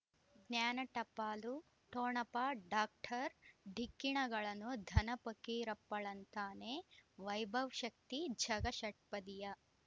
ಜ್ಞಾನ ಟಪಾಲು ಠೊಣಪ ಡಾಕ್ಟರ್ ಢಿಕ್ಕಿ ಣಗಳನು ಧನ ಫಕೀರಪ್ಪ ಳಂತಾನೆ ವೈಭವ್ ಶಕ್ತಿ ಝಗಾ ಷಟ್ಪದಿಯ